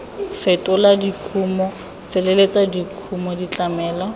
fetola dikumo feleletsa dikumo tlamelo